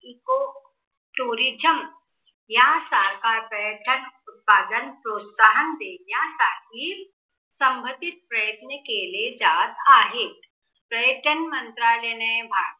Eco tourism यासारखा पर्यटन सदन प्रोत्साहन देण्यासाठी संघटीत प्रयत्न केले जात आहे. पर्यटन मंत्रालयाने भरताना